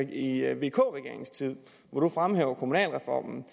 i vk regeringens tid hvor du fremhæver kommunalreformen